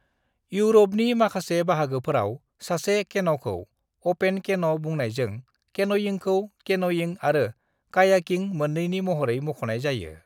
इउरपनि माखासे बाहागोफोराव सासे केन'खौ अपेन केन' बुंनायजों केनयिंखौ केन'यिं आरो कायाकिं मोन्नैनि महरै मख'नाय जायो।